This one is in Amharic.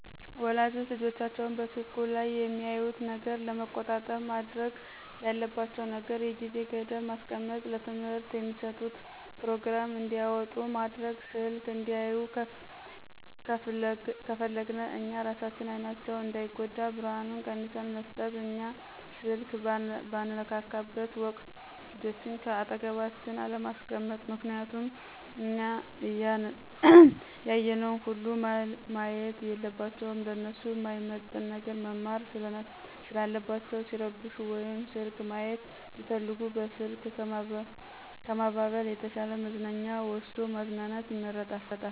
ወላጆች ልጆቻቸው በስልኩ ላይ የሚያዩትን ነገር ለመቆጣጠር ማድረግ ያለባቸው ነገር የጊዜ ገደብ ማስቀመጥ፣ ለትምህርት የሚስጡትን ፕሮግራም እንዲያወጡ ማድረግ፣ ስልክ እንዲያዩ ከፍለግነ እኛ እራሳችን አይናቸው እንዳይጎዳ ብርሀኑን ቀንስን መስጠት፣ እኛ ስልክ በንነካካበት ወቅት ልጆችን ከአጠገባችን አለማስቀመጥ ምክንያቱም እኛ ያየነውን ሁሉ ማየት የለባቸውም ለነሱ ማይመጥን ነገር መማር ሰለለባቸው፣ ሲረብሹ ወይም ስልክ ማይት ቢፈልጉ በስልክ ከማባበል የተሻ መዝናኛ ወስዶ ማዝናናት ይመረጣል።